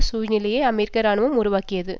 சூழ்நிலையை அமெரிக்க இராணுவம் உருவாக்கியது